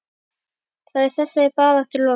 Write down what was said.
Þá er þessari baráttu lokið.